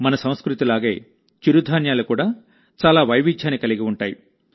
మన సంస్కృతిలాగే చిరుధాన్యాలు కూడా చాలా వైవిధ్యాన్ని కలిగి ఉంటాయి